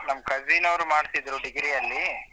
ನನ್ cousin ಅವ್ರು ಮಾಡ್ತಿದ್ರು degree ಅಲ್ಲಿ.